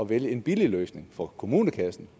vælge en billig løsning for kommunekassen